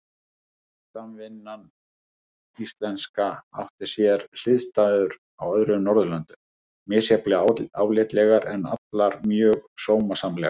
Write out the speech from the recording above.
Samvinnan íslenska átti sér hliðstæður á öðrum Norðurlöndum, misjafnlega álitlegar, en allar mjög sómasamlegar.